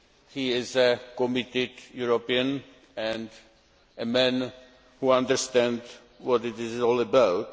He is a committed European and a man who understands what it is all about.